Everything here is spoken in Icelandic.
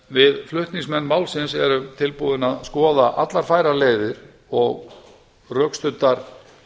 við flutningsmenn málsins erum tilbúnir að skoða alla færar leiðir og rökstuddar